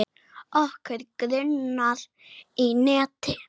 Okkur grunar ekki neitt.